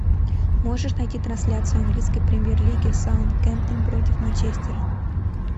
можешь найти трансляцию английской премьер лиги саутгемптон против манчестера